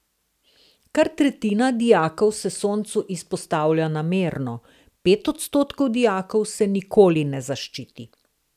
Kar tretjina dijakov se soncu izpostavlja namerno, pet odstotkov dijakov se nikoli ne zaščiti.